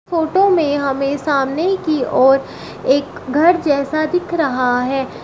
Photo में हमें सामने की ओर एक घर जैसा दिख रहा है।